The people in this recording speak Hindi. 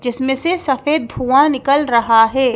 जिसमें से सफेद धुआं निकल रहा है।